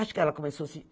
Acho que ela começou assim.